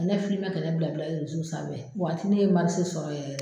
Ka ne filime ka ne bila bila sanfɛ o waati ne ye sɔrɔ yɛrɛ.